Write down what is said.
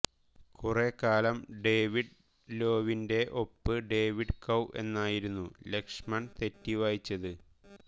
കുറെ കാലം ഡേവിഡ് ലോവീന്റെ ഒപ്പ് ഡേവിഡ് കൌ എന്നായിരുന്നു ലക്ഷ്മൺ തെറ്റി വായിച്ചത്